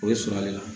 O ye sɔrɔ de la